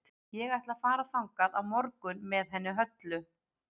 Ég ætla að fara þangað á morgun með henni Höllu.